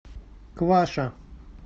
кваша